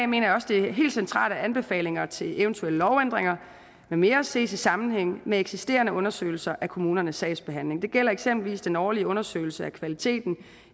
mener jeg også det er helt centralt at anbefalinger til eventuelle lovændringer med mere ses i sammenhæng med eksisterende undersøgelser af kommunernes sagsbehandling det gælder eksempelvis den årlige undersøgelse af kvaliteten